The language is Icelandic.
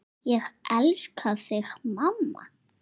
Ég elska þig mamma.